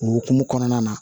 O hukumu kɔnɔna na